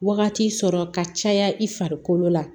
Wagati sɔrɔ ka caya i farikolo la